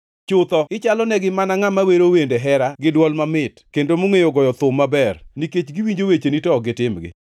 Chutho, ichalonegi mana ngʼama wero wende hera gi dwol mamit kendo mongʼeyo goyo thum maber, nikech giwinjo wecheni to ok gitimgi.